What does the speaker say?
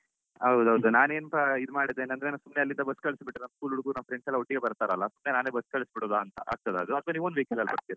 ಹೌದು ಹೌದು ನಾನೆಂತ ಇದ್ ಮಾಡಿದೇನಂದ್ರೆ ಸುಮ್ನೆ ಅಲ್ಲಿಂದ bus ಕಳಿಸ್ಬಿಟ್ರೆ ನಮ್ಮ್ school ಹುಡುಗ್ರು ನಮ್ಮ್ friends ಎಲ್ಲ ಒಟ್ಟಿಗೆ ಬರ್ತಾರಲ್ಲಾ ಸುಮ್ನೆ ನಾನೇ bus ಕಳ್ಸಿಬಿಡೋದಾ ಅಂತಆಗ್ತದಾ ಅಥವಾ ನಿಮ್ own vehicle ಅಲ್ಲಿ ಬರ್ತಿರಾ.